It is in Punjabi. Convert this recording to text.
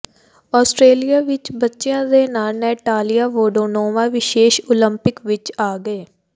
ਆਸਟ੍ਰੇਲੀਆ ਵਿਚ ਬੱਚਿਆਂ ਦੇ ਨਾਲ ਨੈਟਾਲੀਆ ਵੋਡੀਆਨੋਵਾ ਵਿਸ਼ੇਸ਼ ਓਲੰਪਿਕ ਵਿਚ ਆ ਗਏ